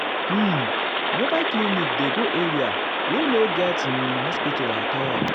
um mobile clinic dey go area wey no get um um hospital at all.